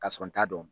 Ka sɔrɔ n t'a dɔn